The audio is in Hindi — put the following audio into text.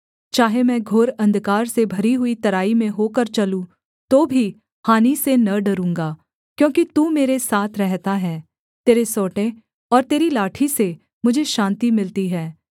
चाहे मैं घोर अंधकार से भरी हुई तराई में होकर चलूँ तो भी हानि से न डरूँगा क्योंकि तू मेरे साथ रहता है तेरे सोंटे और तेरी लाठी से मुझे शान्ति मिलती है